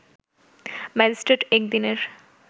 magistrate এক দিনের